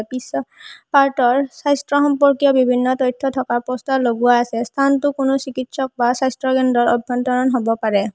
পিছৰ পাৰ্ট ৰ স্বাস্থ্য সম্পৰ্কীয় বিভিন্ন তথ্য থকা প'ষ্টাৰ লগোৱা আছে স্থানটো কোনো চিকিৎসক বা স্বাস্থ্যকেন্দ্ৰৰ অভ্যন্তৰণ হব পাৰে।